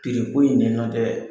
in dɛ nɔ tɛ